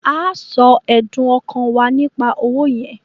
À á sọ ẹ̀dùn-ọkàn wá nípa owó yẹn